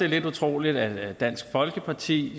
lidt utroligt at dansk folkeparti